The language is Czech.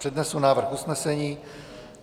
Přednesu návrh usnesení: